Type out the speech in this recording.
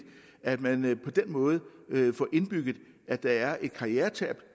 at man på den måde får indbygget at der er et karrieretab